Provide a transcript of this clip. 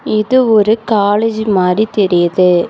இது ஒரு காலேஜ் மாறி தெரியுது.